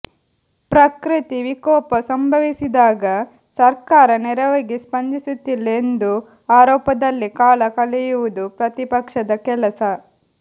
ಪ್ರಕೃತಿ ವಿಕೋಪ ಸಂಭವಿಸಿದಾಗ ಸರ್ಕಾರ ನೆರವಿಗೆ ಸ್ಪಂದಿಸುತ್ತಿಲ್ಲ ಎಂದು ಆರೋಪದಲ್ಲೇ ಕಾಲ ಕಳೆಯುವುದು ಪ್ರತಿಪಕ್ಷದ ಕೆಲಸ